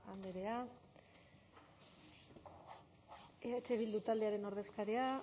andrea eh bildu taldearen ordezkaria